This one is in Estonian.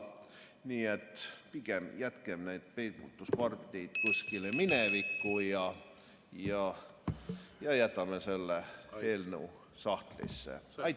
Nii et pigem jätkem need peibutuspardid kuskile minevikku ja jätame selle eelnõu sahtlisse!